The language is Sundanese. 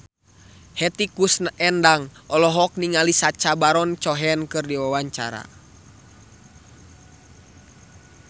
Hetty Koes Endang olohok ningali Sacha Baron Cohen keur diwawancara